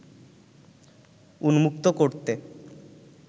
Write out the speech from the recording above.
উন্মুক্ত করতে